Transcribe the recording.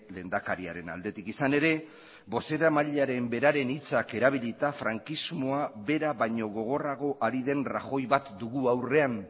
lehendakariaren aldetik izan ere bozeramailearen beraren hitzak erabilita frankismoa bera baino gogorrago ari den rajoy bat dugu aurrean